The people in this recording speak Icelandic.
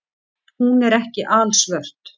Hún er ekki alsvört.